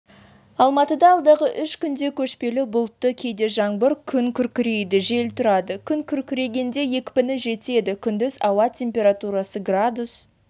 алматыда алдағы үш күнде көшпелі бұлтты кейде жаңбыр күн күркірейді жел тұрады күн күркірегенде екпіні жетеді күндіз ауа температурасы градус